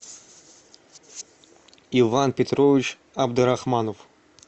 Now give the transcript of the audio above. иван петрович абдурахманов